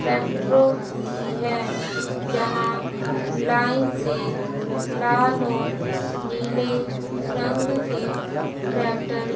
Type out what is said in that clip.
ट्रैक्टरों की है यहां लाइन से लाल और नीले रंग के ट्रैक्टर --